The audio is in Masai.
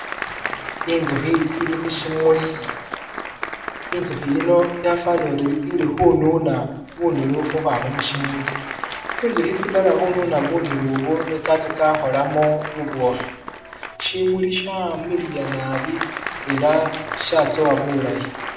Inzukhi ili khushimuli, inzukhi yino yafanile uri ili khununa bunulu khu khwama mushimuli, tsinzukhi tsidela khu nuna bunulu buno ne tsatsya tsakholamo bubukhi, shimuli shamiliya nabi ela shatsowa bulayi.